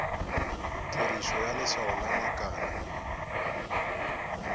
tirišo ya leswao la makalo